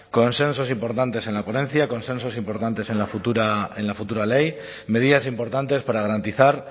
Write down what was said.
consensos importantes en la ponencia consensos importantes en la futura ley medidas importantes para garantizar